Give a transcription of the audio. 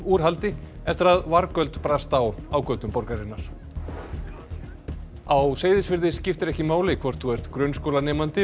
úr haldi eftir að vargöld brast á á götum borgarinnar á Seyðisfirði skiptir ekki máli hvort þú ert grunnskólanemandi